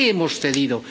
¿En qué hemos cedido?